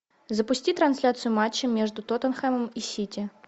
запусти трансляцию матча между тоттенхэмом и сити